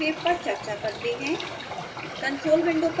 discrete sine wave पर चर्चा करते हैं